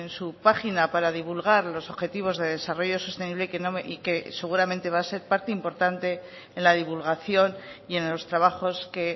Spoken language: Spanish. su página para divulgar los objetivos de desarrollo sostenible y que seguramente va a ser parte importante en la divulgación y en los trabajos que